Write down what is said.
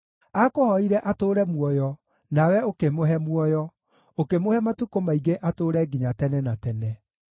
Aakũhooire atũũre muoyo, nawe ũkĩmũhe muoyo, ũkĩmũhe matukũ maingĩ atũũre nginya tene na tene.